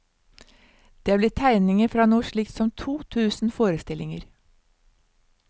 Det er blitt tegninger fra noe slikt som to tusen forestillinger.